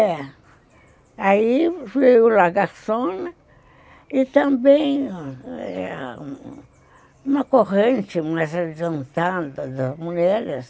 É. Aí veio o Laga Sona e também uma corrente mais adiantada das mulheres.